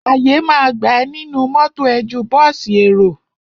Àyè ma gbà ẹ nínú mọ́tọ̀ ẹ ju bọ́ọ̀sì èrò.